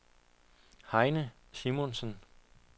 Heine Simonsen